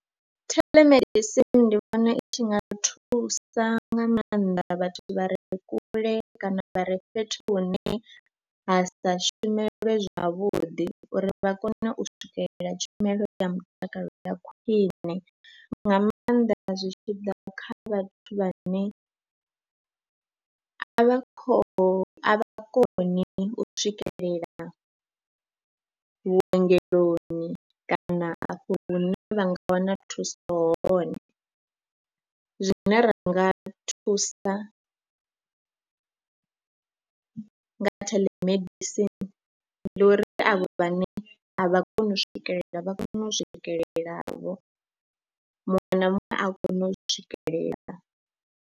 Telemedicine ndi vhona i tshi nga thusa nga maanḓa vhathu vha re kule kana vha re fhethu hune ha sa shumelwe zwavhuḓi uri vha kone u swikelela tshumelo ya mutakalo ya khwine nga maanḓa zwi tshi ḓa kha vhathu vhane a vha khou, a vha koni u swikelela vhuongeloni kana afho hune vha nga wana thuso hone. Zwine ra nga thusa nga telemedicine ndi uri avho vhane a vha koni u swikelela vha kone u swikelelavho muṅwe na muṅwe a kone u swikelela.